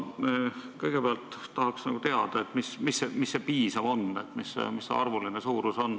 Kõigepealt tahaksin teada, mis see piisav on, mis see arvuline suurus on.